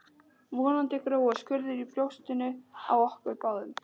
Vonandi gróa skurðir í brjóstinu á okkur báðum